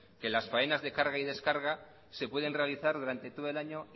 que las faenas de carga y descarga se pueden realizar durante todo el año